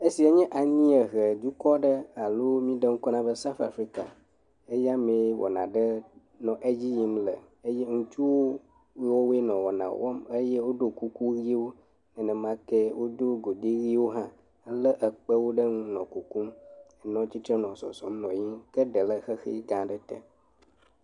Esia nye anyiehe dukɔ aɖe alo m]eɖe ŋkɔ na be South Afrika. Eya mee wɔna aɖe nɔ edzi yim le eye ŋutsuwo yiwo woe nɔ wɔna wɔm eye woɖo kuku ʋiwo, nenemakee wodo godi ʋiwo hã hele ekpewo ɖe ŋu nɔ kukum nɔ atsitre nɔ zɔzɔm nɔ yiyim. Ke ɖe le xexi gã aɖe te.